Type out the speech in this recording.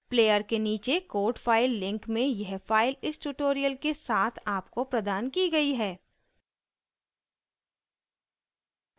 player के नीचे code file link में यह फाइल इस ट्यूटोरियल के साथ आपको प्रदान की गयी है